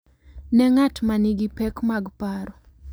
Ne ng’at ma nigi pek mag paro.